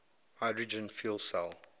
hydrogen fuel cell